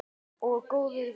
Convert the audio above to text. Og góður vinur.